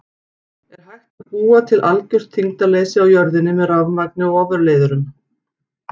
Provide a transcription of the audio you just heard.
Er hægt að búa til algjört þyngdarleysi á jörðinni með rafmagni og ofurleiðurum?